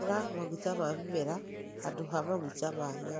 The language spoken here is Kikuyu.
Hũthĩra maguta ma mĩmera handũ ha maguta ma nyamũ.